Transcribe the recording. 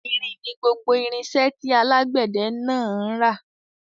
Irin ni gbogbo irinṣẹ́ tí alágbẹ̀dẹ náà ń ra.